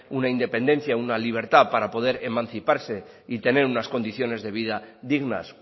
una independencia una libertad para poder emanciparse y tener unas condiciones de vida dignas